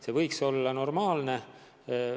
See võiks olla normaalne.